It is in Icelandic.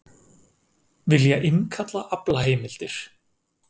Vilja innkalla aflaheimildir